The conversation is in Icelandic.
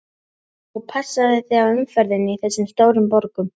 Og passaðu þig á umferðinni í þessum stóru borgum.